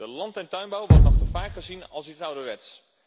De land en tuinbouw wordt nog te vaak gezien als iets ouderwets.